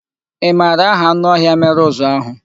Ị mara aha anụ ọhịa ahụ mere uzu ahụ?